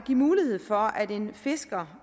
give mulighed for at en fisker